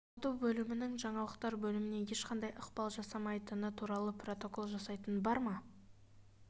сату бөлімінің жаңалықтар бөліміне ешқандай ықпал жасамайтыны туралы протокол жасайтын бар ма